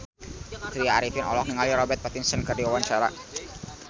Tya Arifin olohok ningali Robert Pattinson keur diwawancara